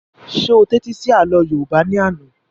Ṣé o tẹ́tí sí àlọ́ yóòbá ní àná?